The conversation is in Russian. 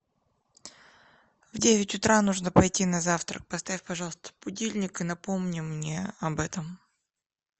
в девять утра нужно пойти на завтрак поставь пожалуйста будильник и напомни мне об этом